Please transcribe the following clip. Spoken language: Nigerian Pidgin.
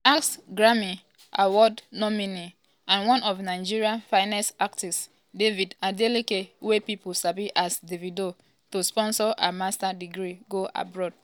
she ask grammy-award nominee and one of nigeria finest artiste david adeleke wey pipo sabi as davido to sponsor her master’s degree go abroad.